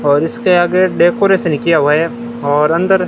और इसके आगे डेकोरेशन किया हुआ है और अंदर--